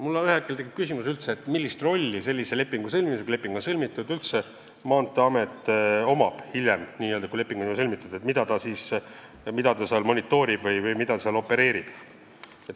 Mul tekib üldse küsimus, millist rolli mängib Maanteeamet hiljem, kui sellised lepingud on juba sõlmitud – mida ta seal monitoorib või millega opereerib.